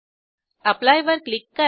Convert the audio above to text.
apply वर click करा